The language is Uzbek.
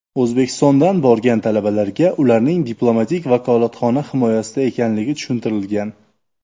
O‘zbekistondan borgan talabalarga ularning diplomatik vakolatxona himoyasida ekanligi tushuntirilgan.